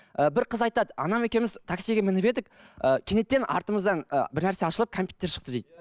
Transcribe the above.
і бір қыз айтады анам екеуміз таксиге мініп едік ыыы кенеттен артымыздан ы бірнәрсе ашылып кәмпиттер шықты дейді